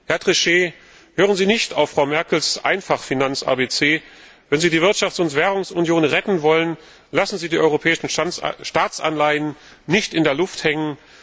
Herr Trichet, hören Sie nicht auf Frau Merkels Einfach Finanz ABC. Wenn Sie die Wirtschafts und Währungsunion retten wollen, lassen Sie die europäischen Staatsanleihen nicht in der Luft hängen.